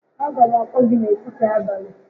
A ga m akpọ gị n'etiti abalị